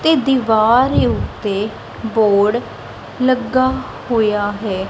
ਤੇ ਦੀਵਾਰ ਉੱਤੇ ਬੋਰਡ ਲੱਗਾ ਹੋਇਆ ਹੈ।